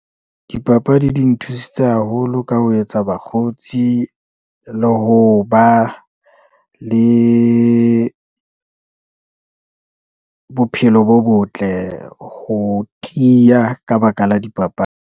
Dipapadi di nthusitse haholo ka ho etsa bakgotsi, le ho ba le bophelo bo botle, ho tiya ka baka la .